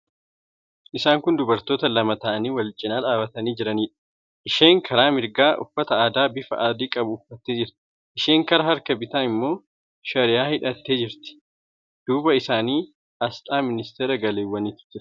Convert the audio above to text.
Isaan kun dubartoota lama ta'anii wal cina dhaabbatanii jiraniidha. Isheen karaa mirgaa uffata aadaa bifa adii qabu uffattee jirti. Isheen karaa bitaa immoo shariyaa hidhattee jirti. Duuba isaanii aasxaa ministeera galiiwwaniitu jira.